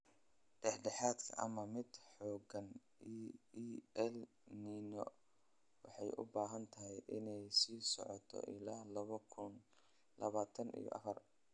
Dhex dhexaad ama mid xoogan El Niño waxay u badan tahay inay sii socoto ilaa laba kuun labatan iyo afar.